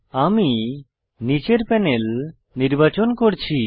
আমি নীচের প্যানেল নির্বাচন করছি